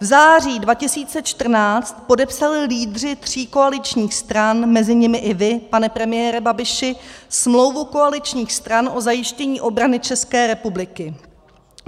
V září 2014 podepsali lídři tří koaličních stran, mezi nimi i vy, pane premiére Babiši, smlouvu koaličních stran o zajištění obrany České republiky.